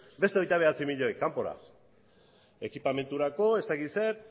beste hogeita bederatzi milioi kanpora ekipamendurako ez dakit zer